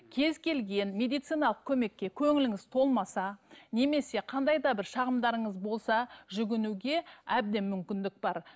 кез келген медициналық көмекке көңіліңіз толмаса немесе қандай да бір шағымдарыңыз болса жүгінуге әбден мүмкіндік бар